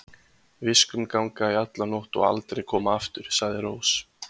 Viskum ganga í alla nótt og aldrei koma aftur, sagði Rós.